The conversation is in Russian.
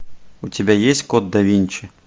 у тебя есть код да винчи